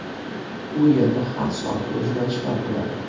U yerda har soatda o‘zgarishlar bo‘ladi.